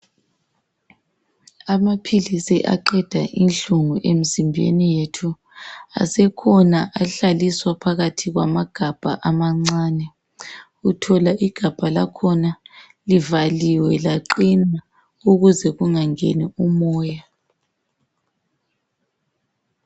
Amaphilisi aqeda inhlungu emzimbeni yethu. Asekhona ahlaliswa phakathi kwamagabha amancani. Uthola igabha lakhona livaliwe laqina ukuze kungangeni umoya.